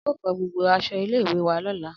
Ao fo gbogbo aso ile iwe wa lola